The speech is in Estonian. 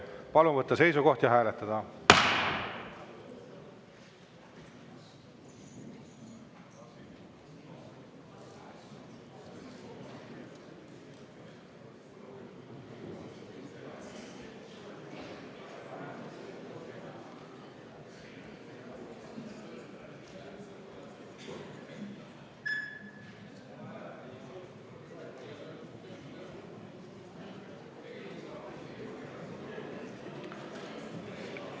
Palun võtta seisukoht ja hääletada!